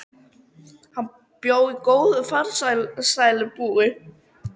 Hann bjó góðu og farsælu búi.